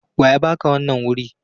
Wa ya ba ka wannan wurir?